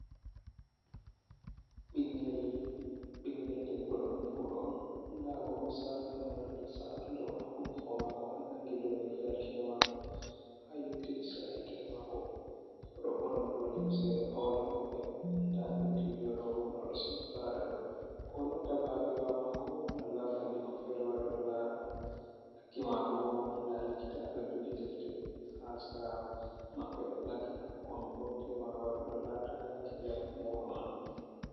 Ɓingel ɓingel debbo ɗo nyauɗo on, nda bo misalu naunande saatunde on ha hundugo maako, ha nangi dou nirgal kine mako ha yotti seera hitere maako, oɗo ɓorni bo limse ole-ole, nda ndottijo ɗoo bo marɗo sumukkare ɗo, ko latta babirawo maako malla bandiko feere wari ɗo laara mo, ɗakki mako bo nda likita ɗo joogi defte ha sera maɓɓe lattan anko on bo tema waari ɗo larta yaake njamu nyauɗo man.